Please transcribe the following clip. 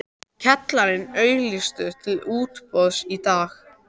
Kjallarinn auglýstur til útboðs í dag.